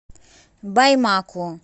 баймаку